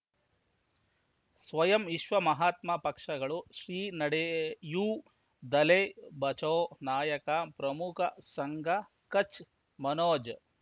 ಸ್ವಯಂ ವಿಶ್ವ ಮಹಾತ್ಮ ಪಕ್ಷಗಳು ಶ್ರೀ ನಡೆಯೂ ದಲೈ ಬಚೌ ನಾಯಕ ಪ್ರಮುಖ ಸಂಘ ಕಚ್ ಮನೋಜ್